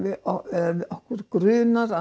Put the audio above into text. eða okkur grunar að